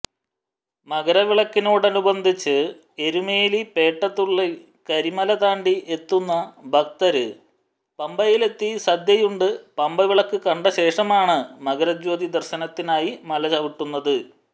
മകരവിളക്കിനോടനുബന്ധിച്ച് എരുമേലിപേട്ടതുള്ളി കരിമലതാണ്ടി എത്തുന്ന ഭക്തര് പമ്പയിലെത്തി സദ്യയുണ്ട് പമ്പവിളക്ക് കണ്ടശേഷമാണ് മകരജ്യോതിദര്ശനത്തിനായി മലചവിട്ടുന്നത്